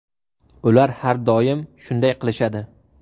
Ular har doim shunday qilishadi!